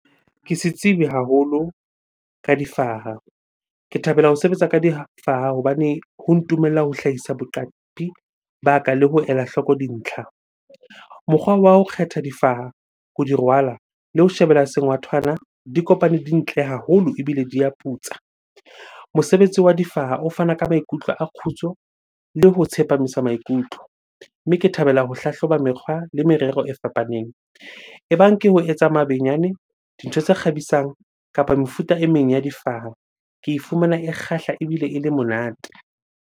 Ke setsibi haholo ka difaha. Ke thabela ho sebetsa ka difaha hobane ho ntumella ho hlahisa boqapi ba ka le ho ela hloko dintlha. Mokgwa wa ho kgetha difaha, ho di rwala le ho shebella sengwathwana di kopane di ntle haholo ebile di a putsa. Mosebetsi wa difaha o fana ka maikutlo a kgutso le ho tsepamisa maikutlo. Mme ke thabela ho hlahloba mekgwa le merero e fapaneng. E bang ke ho etsa mabenyane, dintho tse kgabisang kapa mefuta e meng ya difaha. Ke e fumana e kgahla ebile ele monate.